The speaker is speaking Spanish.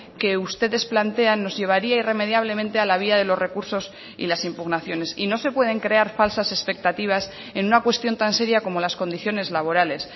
que ustedes plantean nos llevaría irremediablemente a la vía de los recursos y las impugnaciones y no se pueden crear falsas expectativas en una cuestión tan seria como las condiciones laborales